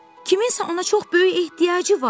Kiminsə ona çox böyük ehtiyacı var.